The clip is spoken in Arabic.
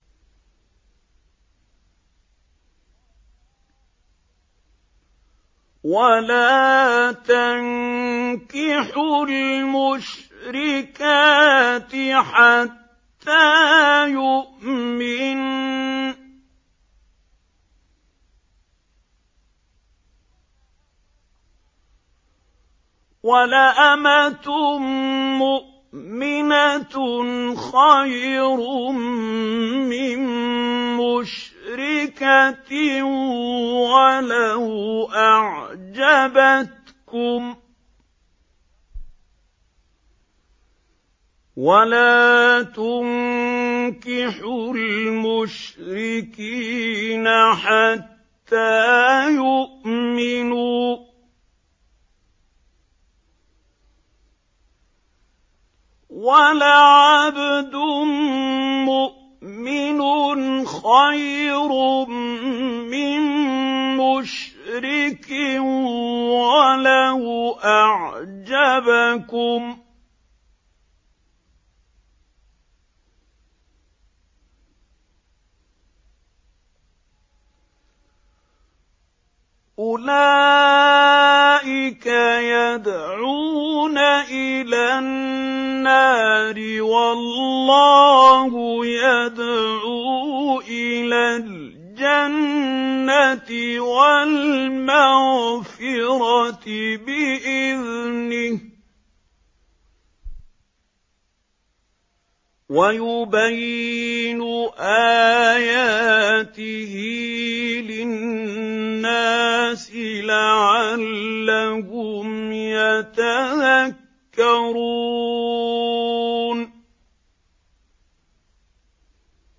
وَلَا تَنكِحُوا الْمُشْرِكَاتِ حَتَّىٰ يُؤْمِنَّ ۚ وَلَأَمَةٌ مُّؤْمِنَةٌ خَيْرٌ مِّن مُّشْرِكَةٍ وَلَوْ أَعْجَبَتْكُمْ ۗ وَلَا تُنكِحُوا الْمُشْرِكِينَ حَتَّىٰ يُؤْمِنُوا ۚ وَلَعَبْدٌ مُّؤْمِنٌ خَيْرٌ مِّن مُّشْرِكٍ وَلَوْ أَعْجَبَكُمْ ۗ أُولَٰئِكَ يَدْعُونَ إِلَى النَّارِ ۖ وَاللَّهُ يَدْعُو إِلَى الْجَنَّةِ وَالْمَغْفِرَةِ بِإِذْنِهِ ۖ وَيُبَيِّنُ آيَاتِهِ لِلنَّاسِ لَعَلَّهُمْ يَتَذَكَّرُونَ